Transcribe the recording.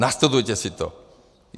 Nastudujte si to.